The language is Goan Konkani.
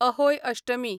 अहोय अष्टमी